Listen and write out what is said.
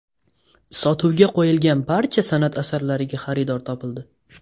Sotuvga qo‘yilgan barcha san’at asarlariga xaridor topildi.